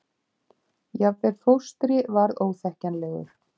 Jafnvel fóstri varð óþekkjanlegur.